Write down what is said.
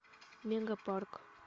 мегапарк